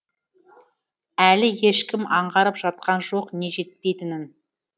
әлі ешкім аңғарып жатқан жоқ не жетпейтінін